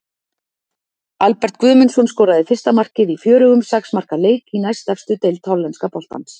Albert Guðmundsson skoraði fyrsta markið í fjörugum sex marka leik í næstefstu deild hollenska boltans.